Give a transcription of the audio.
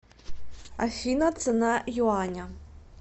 афина цена юаня